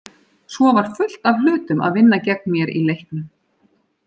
Svo var fullt af hlutum að vinna gegn mér í leiknum.